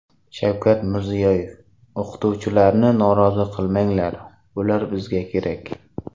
Shavkat Mirziyoyev: O‘qituvchilarni norozi qilmanglar, ular bizga kerak .